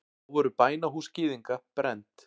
Þá voru bænahús gyðinga brennd.